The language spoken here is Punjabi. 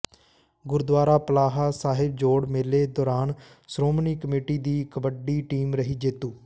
ਗੁਰਦੁਆਰਾ ਪਲਾਹ ਸਾਹਿਬ ਜੋੜ ਮੇਲੇ ਦੌਰਾਨ ਸ਼੍ਰੋਮਣੀ ਕਮੇਟੀ ਦੀ ਕਬੱਡੀ ਟੀਮ ਰਹੀ ਜੇਤੂ